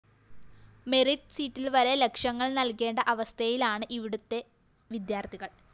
merit സീറ്റില്‍വരെ ലക്ഷങ്ങള്‍ നല്‍കേണ്ട അവസ്ഥയിലാണ് ഇവിടത്തെ വിദ്യാര്‍ത്ഥികള്‍